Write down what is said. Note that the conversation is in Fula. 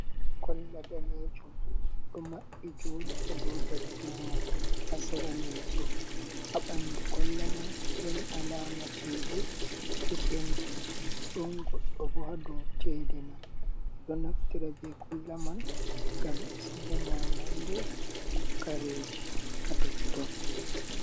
Kolla danejum ɗo maɓɓi joɗi ha dou darduma ha sera leso. Ha ɓandu kolla mai ɗon alama cede ɗo penti ɗon goɗɗo bo ha dou chede man. Ɓeɗo naftira be kolla man ngam be siga nyamande ko kareji ha totton.